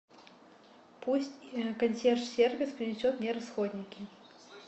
пусть консьерж сервис принесет мне расходники